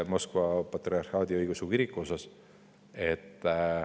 – Moskva Patriarhaadi Õigeusu Kiriku puhul.